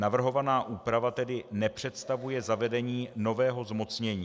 Navrhovaná úprava tedy nepředstavuje zavedení nového zmocnění.